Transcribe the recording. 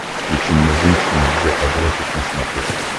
включи мне женщина джеографик на смотрешке